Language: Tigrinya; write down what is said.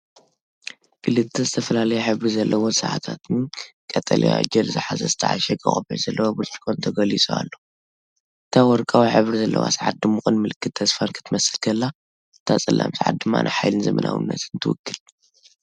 ክልተ ዝተፈላለየ ሕብሪ ዘለወን ሰዓታትን ቀጠልያ ጀል ዝሓዘ ዝተዓሸገ ቆቢዕ ዘለዎ ብርጭቆን ተገሊጹ ኣሎ። እታ ወርቃዊ ሕብሪ ዘለዋ ሰዓት ድሙቕን ምልክት ተስፋን ክትመስል ከላ፡ እታ ጸላም ሰዓት ድማ ንሓይልን ዘመናዊነትን ትውክል።